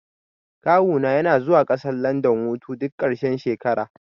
Kawu na yana zuwa ƙasar landan hutu duk ƙarshen shekara